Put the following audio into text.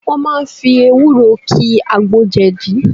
Wọ́n máa fi ewúro ki àgbo jẹ̀dí